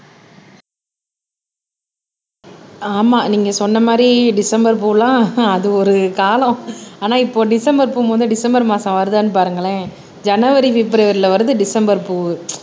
ஆமா நீங்க சொன்ன மாதிரி டிசம்பர் பூலாம் அது ஒரு காலம் ஆனா இப்போ டிசம்பர் பூ மட்டும் டிசம்பர் மாசம் வருதான்னு பாருங்களேன் ஜனவரி பிப்ரவரில வருது டிசம்பர் பூவு